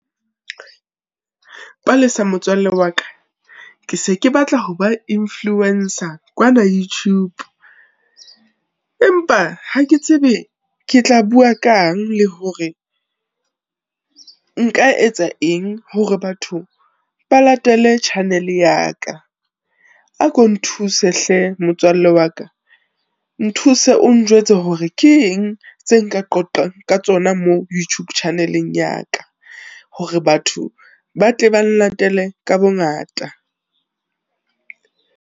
Palesa motswalle wa ka, ke se ke batla ho ba influence-a kwana YouTube, empa ha ke tsebe ke tla bua kang, le hore nka etsa eng hore batho ba latele channel ya ka. A ko nthuse hle motswalle wa ka, nthuse o njwetse hore ke eng, tse nka qoqang ka tsona mo Youtube channel-eng ya ka, hore batho ba tle bang latele ka bongata.